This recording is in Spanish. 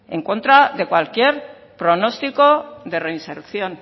en contra de cualquier pronóstico de reinserción